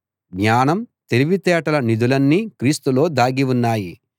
జ్ఞానం తెలివితేటల నిధులన్నీ క్రీస్తులో దాగి ఉన్నాయి